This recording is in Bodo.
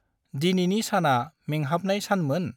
दिनैनि साना मेंहाबनाय सानमोन?